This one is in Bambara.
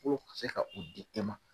K'o k se ka o di e ma